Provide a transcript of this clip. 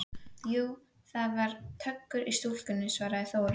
Jú, það er töggur í stúlkunni, svaraði Þóra.